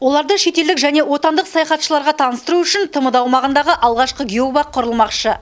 оларды шетелдік және отандық саяхатшыларға таныстыру үшін тмд аумағындағы алғашқы геобақ құрылмақшы